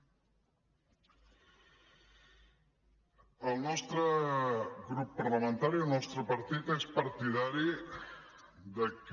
el nostre grup parlamentari el nostre partit és partidari que